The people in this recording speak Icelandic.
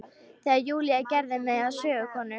Þegar Júlía gerði mig að sögukonu.